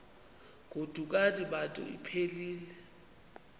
godukani bantu iphelil